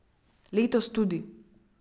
Letos tudi.